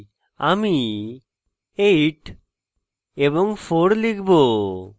আমি 8 এবং 4 লিখব